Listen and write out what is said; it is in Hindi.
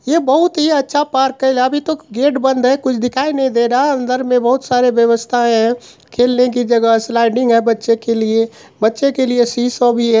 ये बहुत ही अच्छा पार्क है अभी तक गेट बंद है कुछ दिखाई नही दे रहा है अंदर मे बहुत सारे व्यवस्थाए है खेलने की जगह है स्लाइडिंग है बच्चे के लिए बच्चे के लिए शी श भी है।